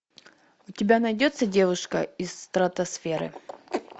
у тебя найдется девушка из стратосферы